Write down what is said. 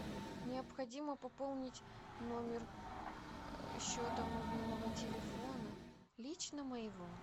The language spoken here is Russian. необходимо пополнить номер счета мобильного телефона лично моего